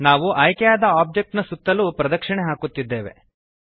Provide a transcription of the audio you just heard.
ನಾವು ಆಯ್ಕೆಯಾದ ಆಬ್ಜೆಕ್ಟ್ ನ ಸುತ್ತಲೂ ಪ್ರದಕ್ಷಿಣೆ ಹಾಕುತ್ತಿದ್ದೇವೆ